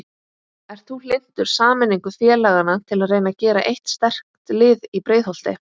Ert þú hlynntur sameiningu félagana til að reyna að gera eitt sterkt lið í Breiðholti?